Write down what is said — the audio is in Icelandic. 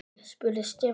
spurði Stefán.